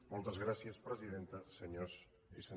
moltes gràcies presidenta senyores i senyors diputats